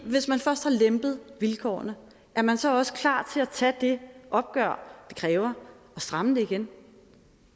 hvis man først har lempet vilkårene er man så også klar til at tage det opgør det kræver at stramme det igen